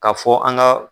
K'a fɔ an ka